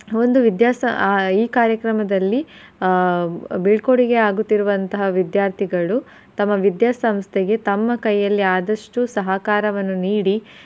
ಒಂದು ವಿದ್ಯಾಸ~ ಆಹ್ ಈ ಕಾರ್ಯಕ್ರಮದಲ್ಲಿ ಆಹ್ ಬೀಳ್ಕೊಡುಗೆ ಆಗುತ್ತಿರುವಂತಹ ವಿದ್ಯಾರ್ಥಿಗಳು ತಮ್ಮ ವಿದ್ಯಾಸಂಸ್ಥೆಗೆ ತಮ್ಮ ಕೈಯಲ್ಲಿ ಆದಷ್ಟು ಸಹಕಾರವನ್ನು ನೀಡಿ.